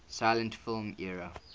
silent film era